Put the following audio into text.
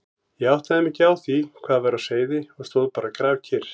Ég áttaði mig ekki á því hvað væri á seyði og stóð bara grafkyrr.